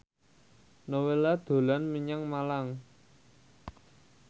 Nowela dolan menyang Malang